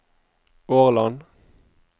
Årland